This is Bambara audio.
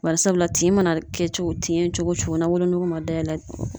Bari sabula tin mana kɛ tin ye cogo o cogo ni wolonugu ma dayɛlɛ